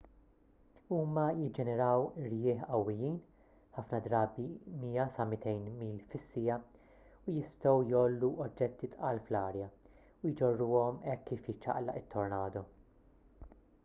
huma jiġġeneraw irjieħ qawwijin ħafna drabi 100-200 mil/siegħa u jistgħu jgħollu oġġetti tqal fl-arja u jġorruhom hekk kif jiċċaqlaq it-tornado